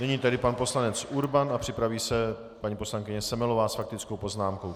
Nyní tedy pan poslanec Urban a připraví se paní poslankyně Semelová s faktickou poznámkou.